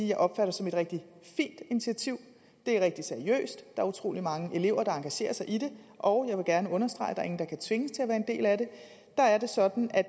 jeg opfatter som et rigtig fint initiativ det er rigtig seriøst er utrolig mange elever der engagerer sig i det og jeg vil gerne understrege at der kan tvinges til at være en del af det er det sådan at